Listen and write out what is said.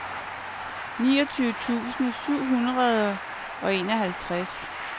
niogtyve tusind syv hundrede og enoghalvtreds